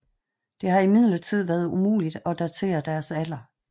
Det har imidlertid været umuligt at datere deres alder